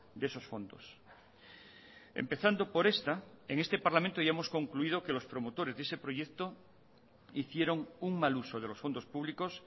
de esos fondos empezando por esta en este parlamento ya hemos concluido que los promotores de ese proyecto hicieron un mal uso de los fondos públicos